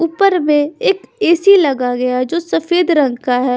ऊपर में एक ए_सी लगा गया जो सफेद रंग का है।